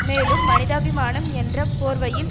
மேலும் மனிதாபிமானம் என்ற போர்வையில்